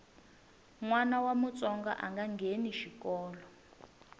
nwana wa mutsonga anga ngheni xikolo